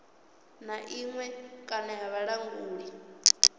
na iṅwe kana ya vhulanguli